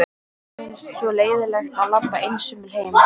Mér finnst svo leiðinlegt að labba einsömul heim.